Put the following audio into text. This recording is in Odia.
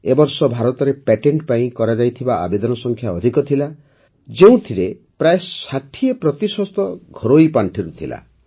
ଏ ବର୍ଷ ଭାରତରେ ପ୍ୟାଟେଣ୍ଟ ପାଇଁ କରାଯାଇଥିବା ଆବେଦନ ସଂଖ୍ୟା ଅଧିକ ଥିଲା ଯେଉଁଥିରେ ପ୍ରାୟଃ ୬୦ ପ୍ରତିଶତ ଘରୋଇ ପାଣ୍ଠିରୁ ଥିଲା